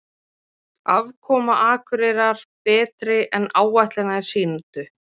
Afkoma Akureyrar betri en áætlanir sýndu